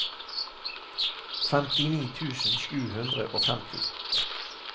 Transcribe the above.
femtini tusen sju hundre og femti